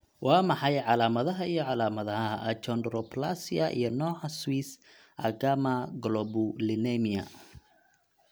Waa maxay calaamadaha iyo calaamadaha Achondroplasia iyo nooca Swiss agammaglobulinemia?